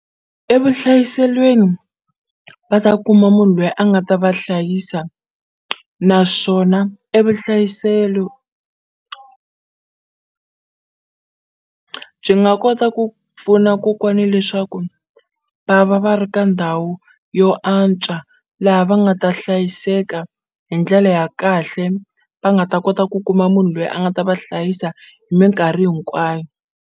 Evuhlayiselweni va ta kuma munhu loyi a nga ta va hlayisa naswona evuhlayiselo byi nga kota ku pfuna kokwani leswaku va va va ri ka ndhawu yo antswa laha va nga ta hlayiseka hi ndlele ya kahle va nga ta kota ku kuma munhu lweyi a nga ta va hlayisa hi minkarhi hinkwayo